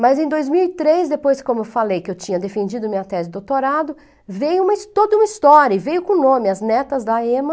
Mas em dois mil e três, depois, como eu falei, que eu tinha defendido minha tese de doutorado, veio toda uma história, e veio com nome, as netas da EMA,